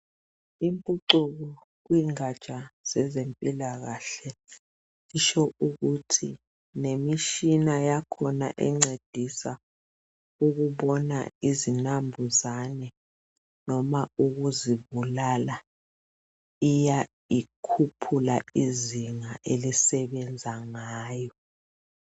imphucuko kulengaja zempilakahle kutsho ukuthi lemitshina yakhona encedisa ukubona izinambuzane noma ukuzibulala iya ikhuphula izinga esebenza ngayo